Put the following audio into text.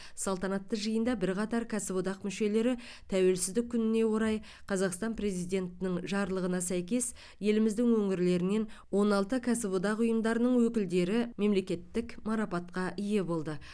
салтанатты жиында бірқатар кәсіподақ мүшелері тәуелсіздік күніне орай қазақстан президентінің жарлығына сәйкес еліміздің өңірлерінен он алты кәсіподақ ұйымдарының өкілдері мемлекеттік марапатқа ие болды